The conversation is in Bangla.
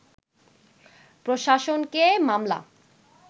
প্রশাসনকে মামলা